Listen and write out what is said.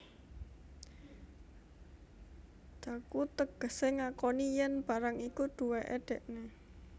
Dhaku tegesé ngakoni yèn barang iku duwéké dèkné